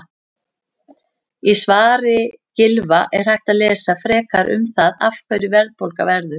Í svari Gylfa er hægt að lesa frekar um það af hverju verðbólga verður.